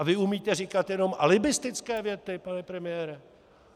A vy umíte říkat jenom alibistické věty, pane premiére?